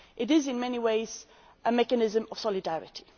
It is in many ways a mechanism of solidarity.